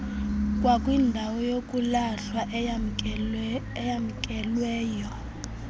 kwakwindawo yokulahla eyamkelweyo